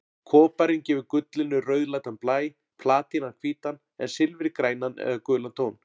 Koparinn gefur gullinu rauðleitan blæ, platínan hvítan en silfrið grænan eða gulan tón.